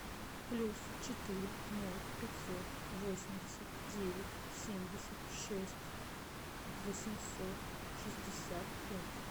плюс четыре ноль пятьсот восемьдесят девять семьдесят шесть восемьсот шестьдесят пять